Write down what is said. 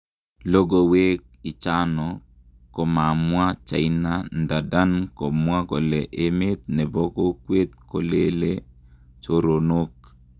Logowek ichano komamwa China ndadan komwa kole emet nepo kokwet kolele choronok.